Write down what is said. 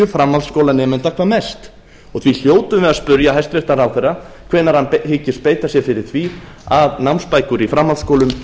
framhaldsskólanemenda hvað mest og því hljótum við að spyrja hæstvirtan ráðherra hvenær hann hyggist beita sér fyrir því að námsbækur í framhaldsskólum